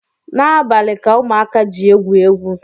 N’abalị ka ụmụaka ji egwu egwu